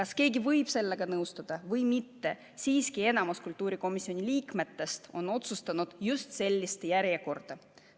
Sellega võib kas nõustuda või mitte, siiski on kultuurikomisjoni liikmete enamus otsustanud just sellise järjekorra.